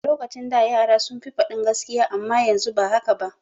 A lokacin da yara sun fi faɗin gaskiya amma yanzu ba haka ba.